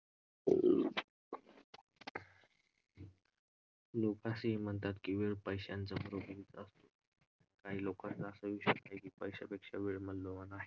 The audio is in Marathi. लोकं हे म्हणतात की वेळ पैशांचा . काही लोकांचं असा विचार आहे की पैश्यापेक्षा वेळ मौल्यवान आहे.